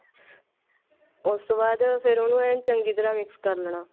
ਉਸ ਤੋਂ ਬਾਅਦ ਫੇਰ ਉਹਨੂੰ ਐਂ ਚੰਗੀ ਤਰ੍ਹਾਂ mix ਕਰ ਲੇਣਾ